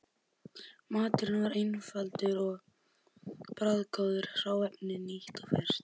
Maturinn var einfaldur og bragðgóður og hráefnið nýtt og ferskt.